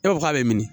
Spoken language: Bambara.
E ko k'a bɛ min